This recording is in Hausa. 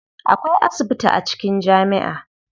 Akwai asibiti a cikin jami'a.